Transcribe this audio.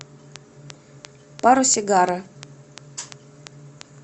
паросигара